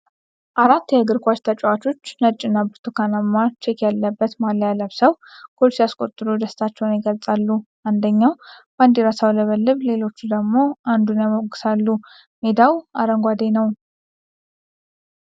አራት የእግር ኳስ ተጫዋቾች ነጭና ብርቱካንማ ቼክ ያለበት ማልያ ለብሰው ጎል ሲያስቆጥሩ ደስታቸውን ይገልጻሉ። አንደኛው ባንዲራ ሲያውለበልብ ሌሎቹ ደግሞ አንዱን ያሞግሳሉ፤ ሜዳው አረንጓዴ ነው።